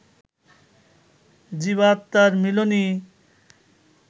জীবাত্মার মিলনই